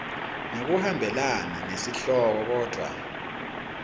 ngekuhambelana nesihloko kodvwa